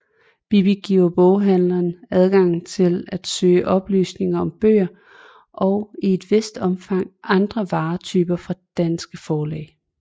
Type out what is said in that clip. BiBi giver boghandlerne adgang til at søge oplysninger om bøger og i et vist omfang andre varetyper fra danske forlag